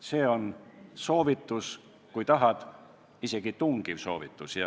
See on soovitus, kui tahad, siis isegi tungiv soovitus.